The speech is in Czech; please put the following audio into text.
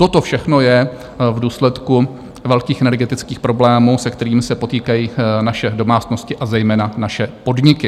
Toto všechno je v důsledku velkých energetických problémů, se kterými se potýkají naše domácnosti, a zejména naše podniky.